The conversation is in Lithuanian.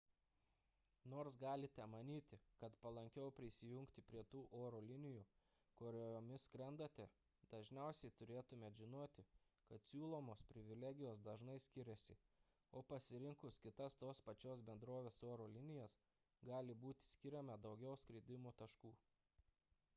nors galite manyti kad palankiau prisijungti prie tų oro linijų kuriomis skrendate dažniausiai turėtumėte žinoti kad siūlomos privilegijos dažnai skiriasi o pasirinkus kitas tos pačios bendrovės oro linijas gali būti skiriama daugiau skridimo taškų